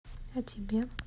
а тебе